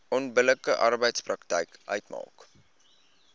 onbillike arbeidspraktyk uitmaak